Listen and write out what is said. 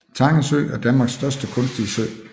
Tange Sø er Danmarks største kunstige sø